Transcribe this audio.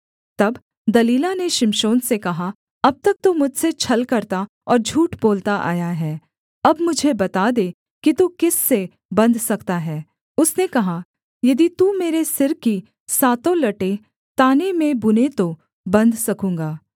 तब दलीला ने शिमशोन से कहा अब तक तू मुझसे छल करता और झूठ बोलता आया है अब मुझे बता दे कि तू किस से बन्ध सकता है उसने कहा यदि तू मेरे सिर की सातों लटें ताने में बुने तो बन्ध सकूँगा